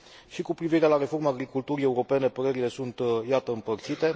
Și cu privire la reforma agriculturii europene părerile sunt, iată, împărțite.